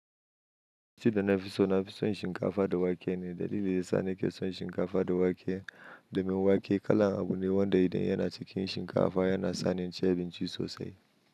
Abinci da na fi so na fi son shinkafa da wake ne, dalilin shi sani, ki son shinkafa da wake domin wake kala abu ne wanda idan yana cikin shinkafa yana sani inci abinci sosai.